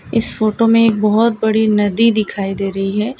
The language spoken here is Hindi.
इस फोटो मे एक बहोत बड़ी नदी दिखाई दे रही है।